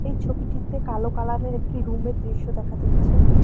এই ছবিটিতে কালো কালারের একটি রুমের দৃশ্য দেখা যাচ্ছে।